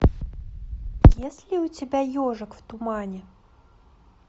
есть ли у тебя ежик в тумане